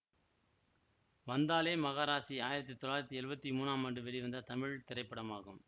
வந்தாளே மகாராசி ஆயிரத்தி தொள்ளாயிரத்தி எழுவத்தி மூனாம் ஆண்டு வெளிவந்த தமிழ் திரைப்படமாகும்